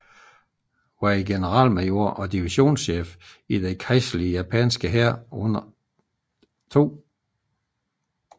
var en generalmajor og divisionschef i den kejserlige japanske hær under 2